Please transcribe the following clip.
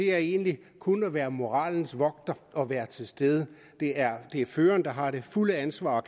er egentlig kun at være moralens vogter og at være til stede det er føreren der har det fulde ansvar og